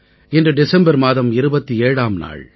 இன்று டிசம்பர் மாதம் 27ஆம் நாள்